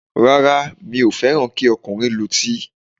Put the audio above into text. Rárá, mi ò fẹ́ràn kí ọkùnrin lutí.